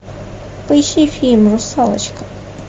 поищи фильм русалочка